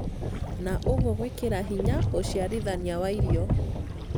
na ũguo gwĩkĩra hinya ũciarithania wa irio.